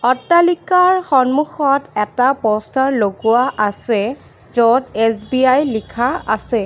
অট্টালিকাৰ সন্মুখত এটা প'ষ্টাৰ লগোৱা আছে য'ত এছ_বি_আই লিখা আছে।